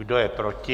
Kdo je proti?